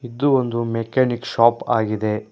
ಇದು ಒಂದು mechanic shop ಆಗಿದೆ.